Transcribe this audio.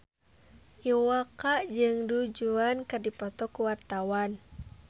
Iwa K jeung Du Juan keur dipoto ku wartawan